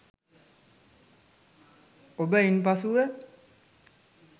ඔබ ඉන්පසුව